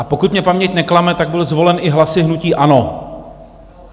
A pokud mě paměť neklame, tak byl zvolen i hlasy hnutí ANO.